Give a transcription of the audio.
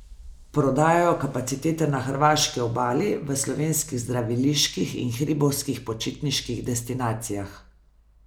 Prodajajo kapacitete na hrvaški obali, v slovenskih zdraviliških in hribovskih počitniških destinacijah.